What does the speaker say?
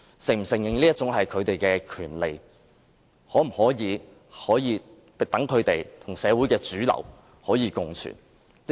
政府是否承認這是他們的權利，讓他們與社會的主流可以共存？